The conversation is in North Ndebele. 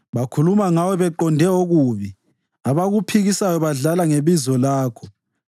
Bakhuluma ngawe beqonde ububi; abakuphikisayo badlala ngebizo lakho.